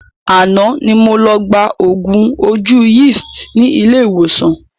Àná ni mo lọ gba oògùn ojú Yeast ni ilé ìwòsàn